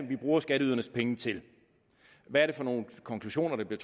vi bruger skatteydernes penge til hvad er det for nogle konklusioner der bliver